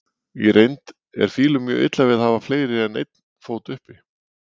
Í reynd er fílum mjög illa við að hafa fleiri en einn fót uppi.